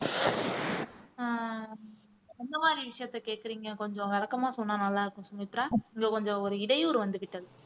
ஆஹ் எந்த மாதிரி விஷயத்த கேக்குறீங்க கொஞ்சம் விளக்கமா சொன்னா நல்லா இருக்கும் சுமித்ரா இங்க கொஞ்சம் ஒரு இடையூறு வந்து விட்டது